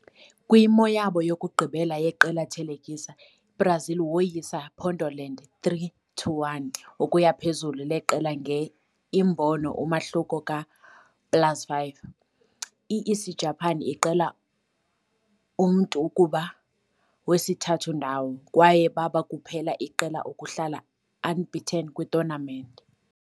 Kwimo yabo yokugqibela yeqela thelekisa, Brazil woyisa Pondoland 3-1 ukuya phezulu leqela nge imbono umahluko ka plus5. I - Isijapani iqela umntu kuba wesithathu ndawo, kwaye baba kuphela iqela ukuhlala unbeaten kwi-tournament.